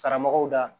Karamɔgɔw da